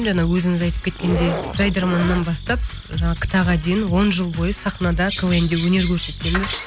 жаңағы өзіңіз айтып кеткендей жайдарманнан бастап жаңағы кта ға дейін он жыл бойы сахнада квн де өнер көрсеткенбіз